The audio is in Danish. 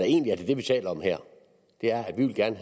egentlig taler om her er at vi gerne